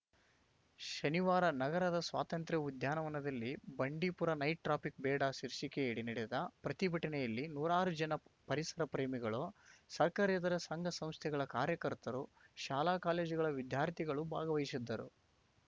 ಶನಿವಾರ ನಗರದ ಸ್ವಾತಂತ್ರ್ಯ ಉದ್ಯಾನವನದಲ್ಲಿ ಬಂಡೀಪುರ ನೈಟ್‌ ಟ್ರಾಫಿಕ್‌ ಬೇಡ ಶೀರ್ಷಿಕೆಯಡಿ ನಡೆದ ಪ್ರತಿಭಟನೆಯಲ್ಲಿ ನೂರಾರು ಜನ ಪರಿಸರ ಪ್ರೇಮಿಗಳು ಸರ್ಕಾರೇತರ ಸಂಘ ಸಂಸ್ಥೆಗಳ ಕಾರ್ಯಕರ್ತರು ಶಾಲಾ ಕಾಲೇಜುಗಳ ವಿದ್ಯಾರ್ಥಿಗಳು ಭಾಗವಹಿಸಿದ್ದರು